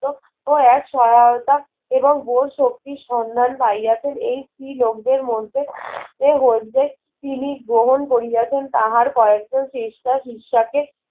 ও এক সহায়তা এবং বোস শক্তির সন্ধান পাইয়াছেন এই স্ত্রী লোকদের মধ্যে এর মধ্যে তিনি গ্রহণ করিয়াছেন তাহার কয়েকজন শ্রেষ্ঠা সিসাকে